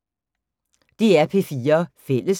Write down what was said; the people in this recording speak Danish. DR P4 Fælles